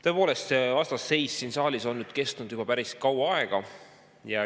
Tõepoolest, see vastasseis siin saalis on kestnud juba päris kaua aega.